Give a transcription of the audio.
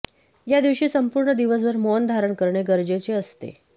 या दिवशी संपूर्ण दिवसभर मौन धारण करणे गरजेचे असते